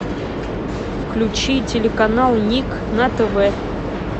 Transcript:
включи телеканал ник на тв